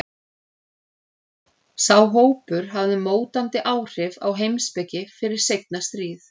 Sá hópur hafði mótandi áhrif á heimspeki fyrir seinna stríð.